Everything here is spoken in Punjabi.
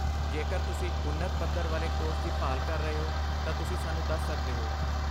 ਜੇਕਰ ਤੁਸੀਂ ਉੱਨਤ ਪੱਧਰ ਵਾਲੇ ਕੋਰਸ ਦੀ ਭਾਲ ਕਰ ਰਹੇ ਹੋ, ਤਾਂ ਤੁਸੀਂ ਸਾਨੂੰ ਦੱਸ ਸਕਦੇ ਹੋ।